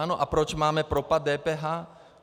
Ano, a proč máme propad DPH?